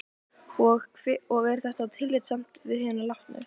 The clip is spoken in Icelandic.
Og er þetta tillitssamt við hina látnu?